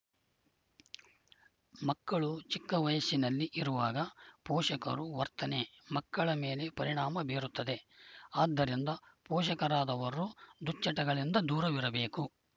ಮಕ್ಕಳು ಚಿಕ್ಕ ವಯಸ್ಸಿನಲ್ಲಿ ಇರುವಾಗ ಪೋಷಕರು ವರ್ತನೆ ಮಕ್ಕಳ ಮೇಲೆ ಪರಿಣಾಮ ಬೀರುತ್ತದೆ ಆದ್ದರಿಂದ ಪೋಷಕರಾದವರು ದುಚಟಗಳಿಂದ ದೂರವಿರಬೇಕು